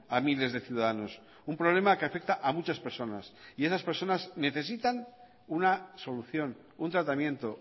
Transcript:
a miles de ciudadanos un problema que afecta a muchas personas y esas personas necesitan una solución un tratamiento